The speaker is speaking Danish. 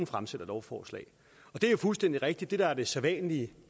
fremsætter lovforslag det er fuldstændig rigtigt det der er det sædvanlige